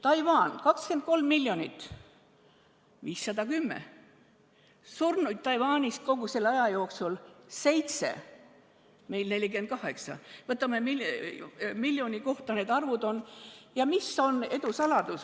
Taiwanis on 23 miljonit elanikku, haigestunuid 510 ja surnuid kogu selle aja jooksul 7, meil 64. Mis on nende edu saladus?